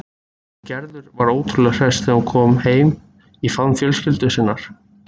Og Gerður var ótrúlega hress þegar hún kom heim í faðm fjölskyldu sinnar.